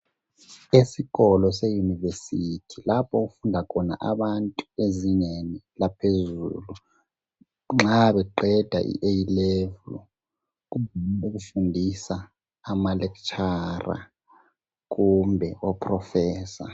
Esikolo seyunivesithi lapho okufunda khona abantu ezingeni laphezulu nxa beqeda i A level kufundisa ama lecturer kumbe oproffessor.